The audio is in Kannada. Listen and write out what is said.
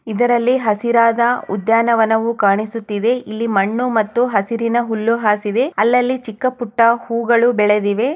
ಇದರಲ್ಲಿ ಹಸಿರಾದ ಉದ್ಯನ ವನವು ಕಾಣಿಸುತ್ತಿದೆ ಇಲ್ಲಿ ಮಣ್ಣು ಮತ್ತು ಹಸಿರಿನ ಹುಲ್ಲು ಹಾಸಿದೆ ಅಲ್ಲಲ್ಲಿ ಚಿಕ್ಕ ಪುಟ್ಟ ಹೂಗಳು ಬೆಳೆದಿವೆ.